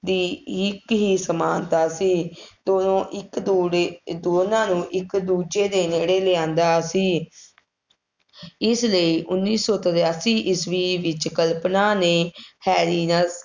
ਦੀ ਇੱਕ ਹੀ ਸਮਾਨਤਾ ਸੀ, ਉਦੋਂ ਇੱਕ ਜੋੜੇ ਦੋਨਾਂ ਨੂੰ ਇੱਕ ਦੂਜੇ ਦੇ ਨੇੜੇ ਲਿਆਂਦਾ ਸੀ ਇਸ ਲਈ ਉੱਨੀ ਸੌ ਤਰਾਸੀ ਈਸਵੀ ਵਿੱਚ ਕਲਪਨਾ ਨੇ ਹੈਰੀਨੱਤ